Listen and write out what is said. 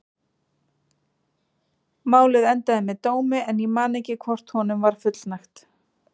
Málið endaði með dómi en ég man ekki hvort honum var fullnægt.